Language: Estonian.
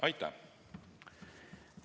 Aitäh!